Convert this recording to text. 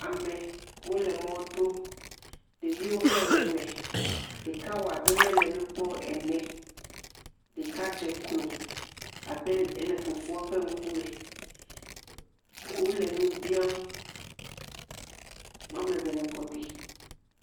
Amewo le mɔto, ɖeviwo hã le me, ɖeka wɔ abe mele nu kpɔm ene, ɖeka dze klo le fofoa ƒe ŋkume. Wole nu biam , woame ve le kɔ ɖim.